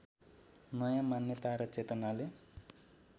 नयाँ मान्यता र चेतनाले